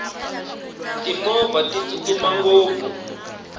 timovha ti tsutsuma ngopfu